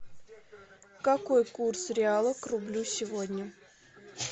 какой курс реала к рублю сегодня